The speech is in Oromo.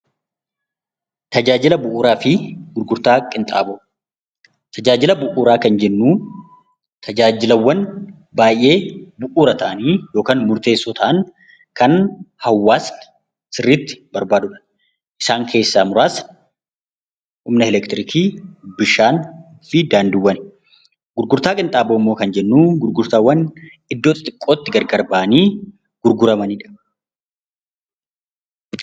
Tajaajila bu'uuraa kan jennuun tajaajilaawwan baay'ee bu'uura ta'anii yookaan murteessoo ta'anii kan hawaasni hawaasni sirriitti barbaadudha. Isaan keessaa muraasni humna elektiriikii, bishaanii fi daandiiwwani. Gurgurtaa qinxaaboo kan jennuun immoo gurgurtaawwan iddoo xixiqootti gargar bahanii gurguramanidha.